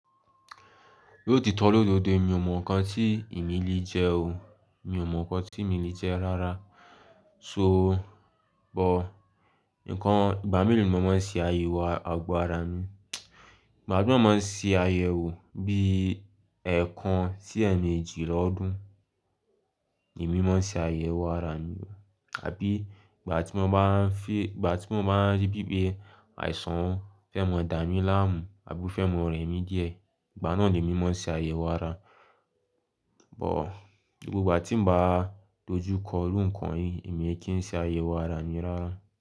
Niò ti tọ́ lódo òde, mi ò mọ̀ nǹkan tí èmi lè jẹ o, mi ò mọ̀ nǹkan tí mi lè jẹ́ rárá. So bọ̀, nǹkan, ìgbà mélòó ni mo máa ń ṣe àyẹ̀wò àgbo ara mi? Magbà gbongbon máa ń ṣe àyẹ̀wò bí ẹẹkan sí ẹ̀ẹ̀mejì lọ́dún ni mí máa ń ṣe àyẹ̀wò ara mi. Àbí ìgbà tí mo bá ń fi, ìgbà tí mo bá rí bí pé àìsàn fẹ́ mọ dà mí láàmú àbí fẹ́ mọ rẹ̀ mí díẹ̀, ìgbà náà ni mí máa ń ṣe àyẹ̀wò ara. Bọ̀, gbogbo ìgbà tí mo bá dojú kọ rú nǹkan yìí, èmi kí ń ṣe àyẹ̀wò ara mi rárá.